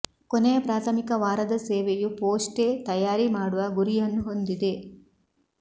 ಕೊನೆಯ ಪ್ರಾಥಮಿಕ ವಾರದ ಸೇವೆಯು ಪೋಸ್ಟ್ಗೆ ತಯಾರಿ ಮಾಡುವ ಗುರಿಯನ್ನು ಹೊಂದಿದೆ